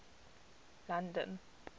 london